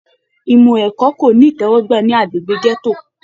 Ìmọ ẹ̀kọ́ ko ní itẹwọgbà ní agbègbè gẹto.